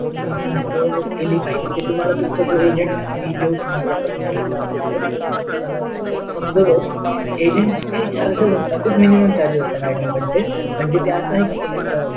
तुम्ही गुंतवणूक केली पाहिजे ते तुम्हाला तुम्हचा agent जे आम्ही देऊ तुम्हला का हवा असेल तर ती तुम्हाला सगळं समजावेत agent ची काही charges असतात पण खूप minimum charges असतात madam पण ते